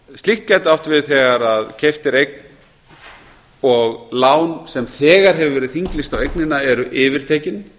slíkt gæti átt við þegar eign er keypt og lán sem þegar hefur verið þinglýst á eignina eru yfirtekin